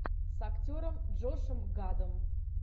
с актером джошем гадом